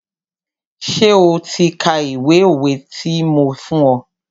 Ṣé o ti ka ìwé òwe ti mo fún ọ?